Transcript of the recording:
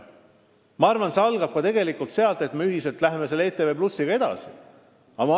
Aga ma arvan, et see algab tegelikult ka sellest, kui me läheme ühiselt edasi ETV+-iga.